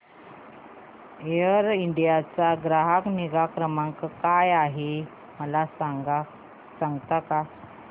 air India चा ग्राहक निगा क्रमांक काय आहे मला सांगता का